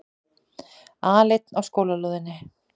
Aleinn á skólalóðinni.